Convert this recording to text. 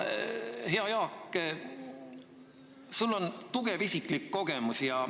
Hea Jaak, sul on tugev isiklik kogemus.